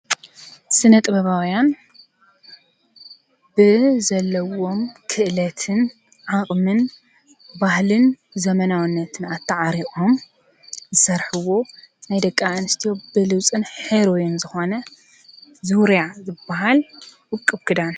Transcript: ስነ ጥበባዊያን ብዘለዎም ክእልትን ዓቅምን ባህልን ዘመናዊነት ኣታዓሪቆም ዝሰርሕዎ ናይ ደቂ ኣንስትዮ ብሉፅን ሕሩይን ዝኮነ ዙርያ ዝባሃል ዉቅብ ክዳን እዩ፡፡